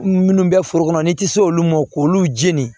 Minnu bɛ foro kɔnɔ n'i tɛ se olu ma k'olu jeni